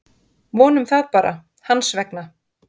Vonum það bara, hans vegna.